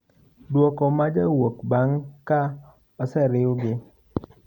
Duoko majawuok bang' ka oseriwgi.